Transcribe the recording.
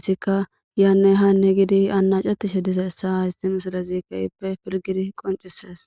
issika yaanne hanne gidi annacatishe dizeessa hayssi misalezi kehippe pilgidi qoncises.